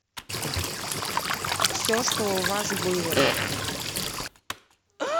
все что у вас было